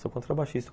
Sou contrabaixista.